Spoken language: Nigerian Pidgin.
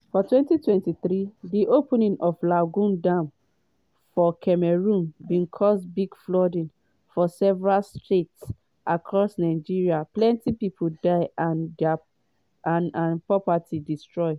for 2023 di opening of di lagdo dam for cameroon bin cause big flooding for several states across nigeria plenty pipo die and and properties destroyed.